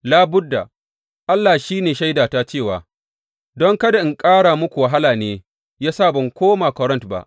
Labudda, Allah shi ne shaidata cewa don kada in ƙara muku wahala ne ya sa ban koma Korint ba.